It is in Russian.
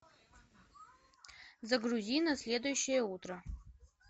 загрузи на следующее утро